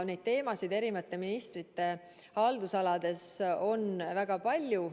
Neid teemasid on eri ministrite haldusalades väga palju.